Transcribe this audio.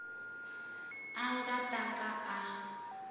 a nga ta ka a